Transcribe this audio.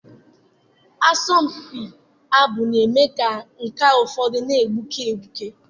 Asọmpi ịbụ abụ na-eme ka nkà ụfọdụ na-egbuke egbuke.